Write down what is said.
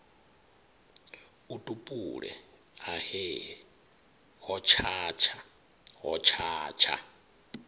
a tupule ahe hotshatsha hotshatsha